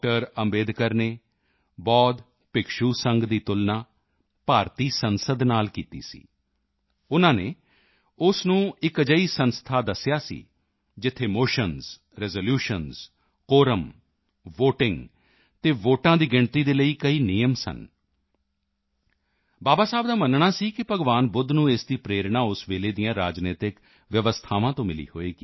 ਅੰਬੇਡਕਰ ਨੇ ਬੌਧ ਭਿਕਸ਼ੂ ਸੰਘ ਦੀ ਤੁਲਨਾ ਭਾਰਤੀ ਸੰਸਦ ਨਾਲ ਕੀਤੀ ਸੀ ਉਨ੍ਹਾਂ ਨੇ ਉਸ ਨੂੰ ਇੱਕ ਅਜਿਹੀ ਸੰਸਥਾ ਦੱਸਿਆ ਸੀ ਜਿੱਥੇ motions resolutions quorum quorum voting ਅਤੇ ਵੋਟਾਂ ਦੀ ਗਿਣਤੀ ਦੇ ਲਈ ਕਈ ਨਿਯਮ ਸਨ ਬਾਬਾ ਸਾਹੇਬ ਦਾ ਮੰਨਣਾ ਸੀ ਕਿ ਭਗਵਾਨ ਬੁੱਧ ਨੂੰ ਇਸ ਦੀ ਪ੍ਰੇਰਣਾ ਉਸ ਵੇਲੇ ਦੀਆਂ ਰਾਜਨੀਤਕ ਵਿਵਸਥਾਵਾਂ ਤੋਂ ਮਿਲੀ ਹੋਵੇਗੀ